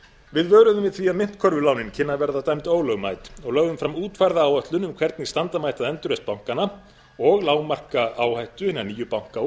við vöruðum við því að myntkörfulánin kynnu að verða dæmd ólögmæt og lögðum fram útfærða áætlun um hvernig standa mætti að endurreisn bankanna og lágmarka áhættu hinna nýju banka og